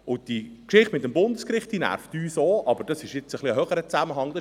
Und die Geschichte mit dem Bundesgericht nervt uns auch, aber dies ist ein höherer Zusammenhang.